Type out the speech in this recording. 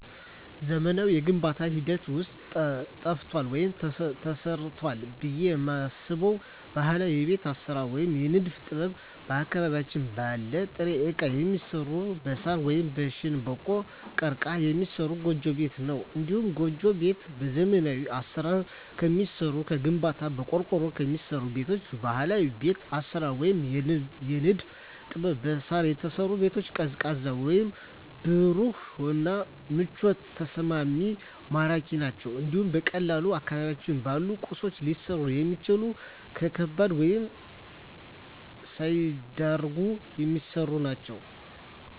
በዘመናዊው የግንባታ ሂደት ውስጥ ጠፍቷል ወይም ተረስቷል ብየ የማስበው ባህላዊ የቤት አሰራር ወይም የንድፍ ጥበብ አካባቢያችን ባለ ጥሬ እቃ የሚሰራ በሳር ወይም በሸንበቆ(ቀርቀሀ) የሚሰራ ጎጆ ቤት ነው። እንዲሁም ጎጆ ቤት በዘመናዊ አሰራር ከሚሰሩ ከግንባታ፣ በቆርቆሮ ከሚሰሩ ቤቶች በባህላዊ ቤት አሰራር ወይም የንድፍ ጥበብ በሳር የተሰሩ ቤቶች ቀዝቃዛ ወይም ብሩህ እና ምቹና ተስማሚ ማራኪ ናቸው እንዲሁም በቀላሉ አካባቢያችን ባሉ ቁሶች ሊሰሩ የሚችሉ ለከባድ ወጭ ሳይዳርጉ የሚሰሩ ናቸው።